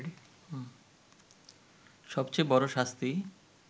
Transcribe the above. সবচেয়ে বড় শাস্তি